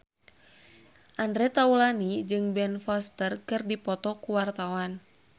Andre Taulany jeung Ben Foster keur dipoto ku wartawan